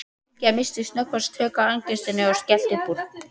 Bylgja missti snöggvast tök á angistinni og skellti upp úr.